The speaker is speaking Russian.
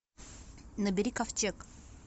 набери ковчег